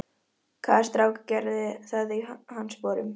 Hvaða strákur gerði það í hans sporum?